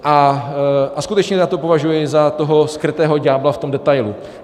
A skutečně já to považuji za toho skrytého ďábla v tom detailu.